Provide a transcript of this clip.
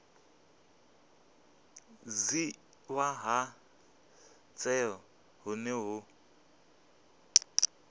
dzhiiwa ha tsheo hune hu